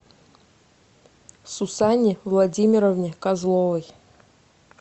сусанне владимировне козловой